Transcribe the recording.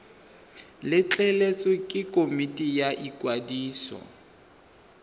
letleletswe ke komiti ya ikwadiso